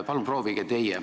Palun proovige teie!